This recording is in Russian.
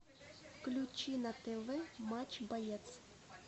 включи на тв матч боец